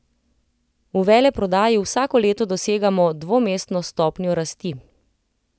V veleprodaji vsako leto dosegamo dvomestno stopnjo rasti.